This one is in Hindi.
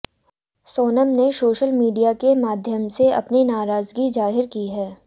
सोनम ने सोशल मीडिया के माध्यम से अपनी नाराजगी जाहिर की है